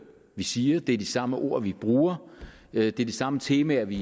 vi siger det er de samme ord vi bruger det er de samme temaer vi